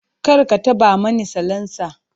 Kar ka taɓa mani salansa!